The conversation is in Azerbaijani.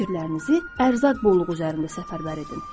Fikirlərinizi ərzaq bolluğu üzərində səfərbər edin.